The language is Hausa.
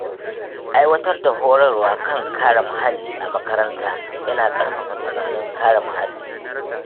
Aiwatar da horarwa kan kare muhalli a makarantu yana ƙarfafa tunanin kare muhalli.